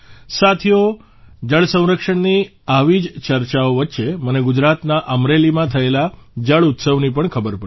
સાથીઓ જળસંરક્ષણની આવી જ ચર્ચાઓ વચ્ચે મને ગુજરાતના અમરેલીમાં થયેલા જળ ઉત્સવની પણ ખબર પડી